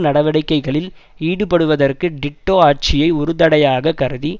நடவடிக்கைகளில் ஈடுபடுவதற்கு டிட்டோ ஆட்சியை ஒருதடையாக கருதி